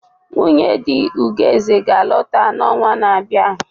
Nwunye di Ugoeze ga-alọta n'ọnwa na-abịa.